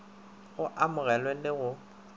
go a amogelwe le go